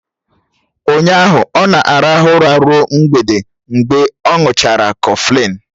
Ụnyaahụ ọ na-arahụ ụra ruo mgbede mgbe ọ̀ ṅuchara kọflịn